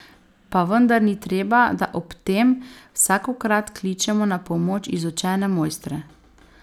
Pa vendar ni treba, da ob tem vsakokrat kličemo na pomoč izučene mojstre.